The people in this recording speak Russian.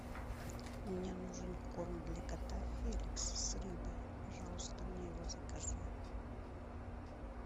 мне нужен корм для кота феликс с рыбой пожалуйста мне его закажи